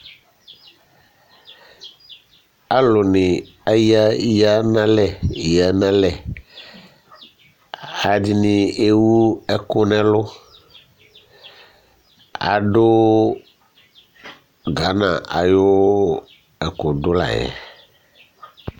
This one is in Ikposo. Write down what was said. Alu ni eya nʋ alɛ, eya nʋ alɛ Alʋɛdìní ewu ɛku nʋ ɛlu Adu Ghana ayʋ ɛkʋdu la yɛ